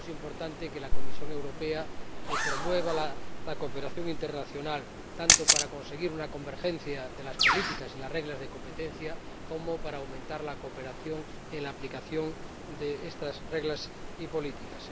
Por eso es importante que la Comisión Europea promueva la cooperación internacional, tanto para conseguir una convergencia de las políticas y las reglas de competencia como para aumentar la cooperación en la aplicación de estas reglas y políticas.